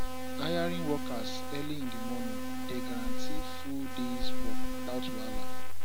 hiring workers early in di morning dey guarantee full days work without wahala